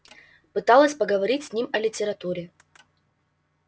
пыталась поговорить с ним о литературе